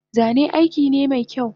Zane aikine mekyau